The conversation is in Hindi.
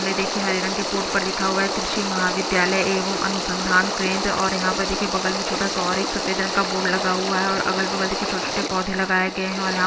सड़क भी दिखाई दे रही है और मुझे यहाँ पर एक गेट भी दिखाई दे रहा है।